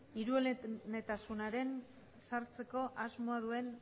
hirueletasunean sartzeko asmoa duen